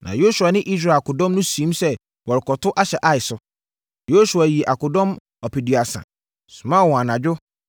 Na Yosua ne Israel akodɔm no siim sɛ wɔrekɔto ahyɛ Ai so. Yosua yii akodɔm ɔpeduasa, somaa wɔn anadwo,